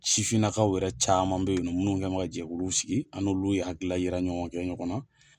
Sifinnakaw yɛrɛ caman be yen nɔ minnu kɛlen bɛ ka jɛkulu sigi an ni olu ye hakili na yira kɛ ɲɔgɔn na.